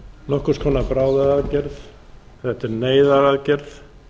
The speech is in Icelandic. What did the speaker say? nokkurs konar bráðaaðgerð geta er neyðaraðgerð